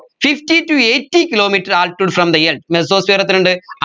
fifty to eighty kilometre altitude from the earth mesosphere എത്രയുണ്ട്